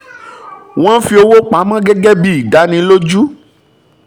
wọ́n fi owó pa mọ́ gẹ́gẹ́ bí ìdánilójú